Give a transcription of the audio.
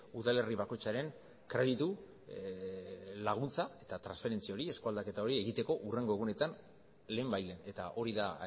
udalerri bakoitzaren kreditu laguntza eta transferentzia hori eskualdaketa hori egiteko hurrengo egunetan lehenbailehen eta hori da